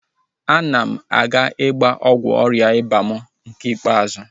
Ana m aga ịgba ọgwụ ọrịa ịba mụ nke ikpeazụ